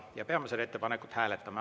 Me peame seda ettepanekut hääletama.